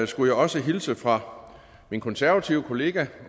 skulle jeg også hilse fra min konservative kollega